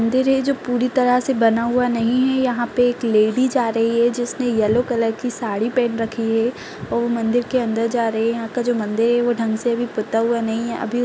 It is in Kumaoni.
मंदिर है जो पूरी तरह से बना हुआ नहीं है यहाँ पे एक लेडी जा रही है जिसने येलो कलर की साडी पहन रखी है और वो मंदिर के अंदर जा रही है यहाँ का जो मंदिर है वो ढंग से अभी बता हुआ नहीं है अभी --